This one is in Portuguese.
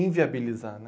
Inviabilizar, né?